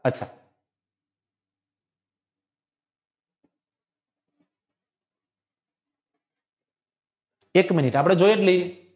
એક મિનિટ આપણે જોય જ લઈયે